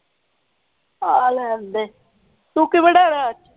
ਆ ਲੈਣ ਦੇ ਤੂੰ ਕਿ ਬਣਾਣਾ ਅੱਜ